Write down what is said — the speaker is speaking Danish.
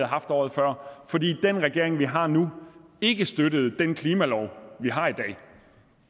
haft året før fordi den regering vi har nu ikke støttede den klimalov vi har i dag